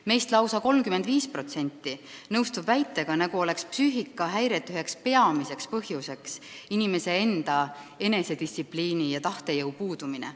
Meist lausa 35% nõustub väitega, nagu oleks psüühikahäirete üks peamine põhjus inimese enesedistsipliini ja tahtejõu puudumine.